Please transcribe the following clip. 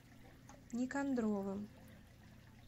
никандровым